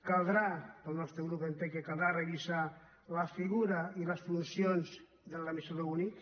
caldrà el nostre grup entén que caldrà revisar la figura i les funcions de l’administrador únic